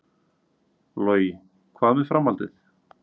Logi: Hvað með framhaldið?